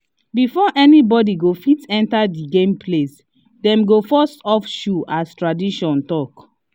before anybody go fit enter the game place dem go first off shoe as tradition talk